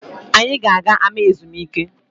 Anyị ga-aga ama ezumike